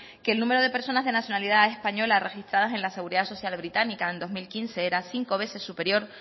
que el número de personas de nacionalidad española registrada en la seguridad social británica en dos mil quince era cinco veces superior